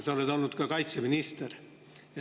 Sa oled olnud ka kaitseminister.